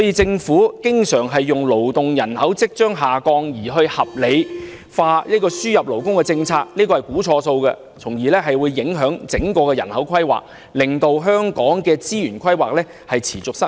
政府經常以勞動人口即將下降而合理化輸入勞工政策，那是估算錯誤，從而影響整體人口規劃，令香港的資源規劃持續失誤。